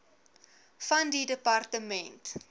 van die departement